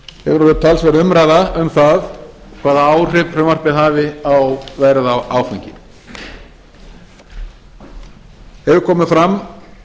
hefur orðið talsverð umræða um það hvaða áhrif frumvarpið hafi á verð á áfengi hefur komið fram